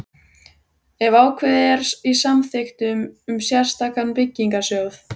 ef ákvæði er í samþykktum um sérstakan byggingarsjóð.